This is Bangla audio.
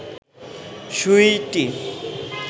সুইটি